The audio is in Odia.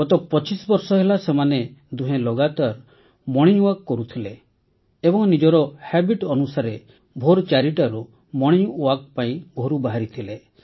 ଗତ ପଚିଶ ବର୍ଷ ହେଲା ସେମାନେ ଦୁହେଁ ଲଗାତାର ମୋର୍ଣ୍ଣିଂ ୱାକ୍ କରୁଥିଲେ ଏବଂ ନିଜର ଅଭ୍ୟାସ ଅନୁସାରେ ଭୋର୍ ୪ଟାରୁ ମୋର୍ଣ୍ଣିଂ ୱାକ୍ ପାଇଁ ଘରୁ ବାହାରିଥିଲେ